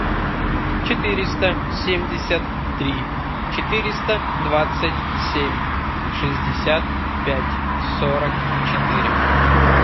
четыреста семьдесят три четыреста двадцать семь шестьдесят пять сорок четыре